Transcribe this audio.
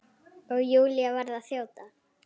Og Júlía varð að þjóta.